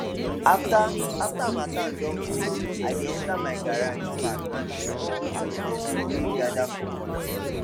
after after harmattan don go i dey enter my garage pack and clear all those dirty wey gather for corner